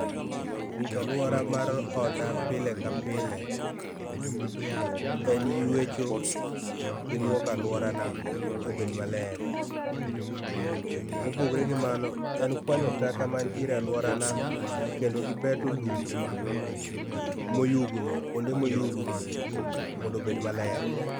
Rita aluora mar oda pile ka pile en yuecho gi luoko aluora na obed maler. Mopogore gi mano en kwanyo taka mantiere aluorana kendo gi beto lum moyugno kuonde moyugno mondo obed maler.